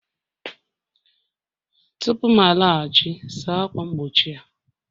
Tupu m alaghachi, saa ákwà mgbochi a!